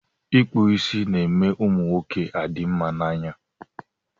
Ịkpụ isi ná-eme ụmụ nwoke adị mma na anya.